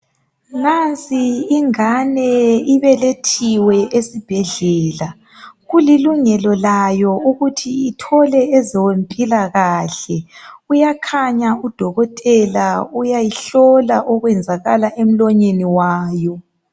Nansi ingane ibelethiwe esibhedlela kulilungelo layo ukuthi ithole ezempilakahle uyakhanya udokotela uyayihlola okwenzakala emlonyeni wayo.